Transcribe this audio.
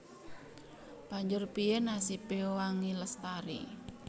Banjur piyé nasibé Wangi Lestari